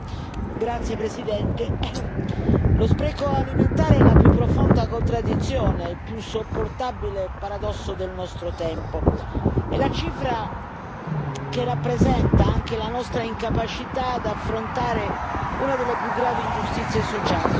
Signor Presidente, onorevoli colleghi, lo spreco alimentare è la più profonda contraddizione, il più insopportabile paradosso del nostro tempo. È la cifra che rappresenta anche la nostra incapacità di affrontare una delle più gravi ingiustizie sociali.